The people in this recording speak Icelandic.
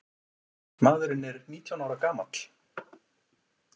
Maðurinn er nítján ára gamall.